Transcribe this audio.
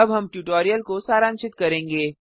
अब हम ट्यूटोरियल को सारांशित करेंगे